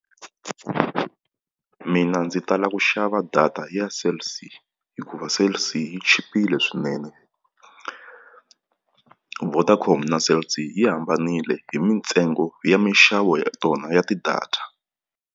Mina ndzi tala ku xava data ya Cell C hikuva Cell C yi chipile swinene, Vodacom na Cell C yi hambanile hi mintsengo ya minxavo ya tona ya ti-data.